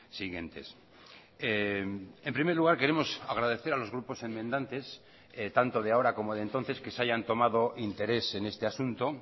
siguientes en primer lugar queremos agradecer a los grupos enmendantes tanto de ahora como de entonces que se hayan tomado interés en este asunto